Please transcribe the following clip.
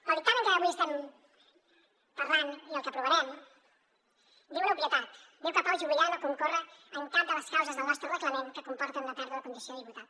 el dictamen de què avui estem parlant i el que aprovarem diu una obvietat diu que en pau juvillà no concorre cap de les causes del nostre reglament que comporten una pèrdua de condició de diputat